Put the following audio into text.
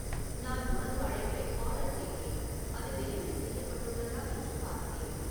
நான் உணவு அழைப்பை ஆர்டர் செய்தேன் அது டெலிவரி செய்யப்பட்டுள்ளதா என்று பார்த்தேன்